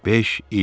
Beş il.